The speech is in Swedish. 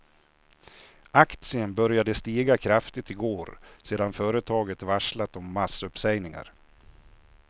Aktien började stiga kraftigt i går sedan företaget varslat om massuppsägningar.